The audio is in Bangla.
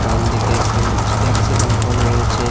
ডানদিকে একটি ট্যাক্সি দাঁড় করানো রয়েছে।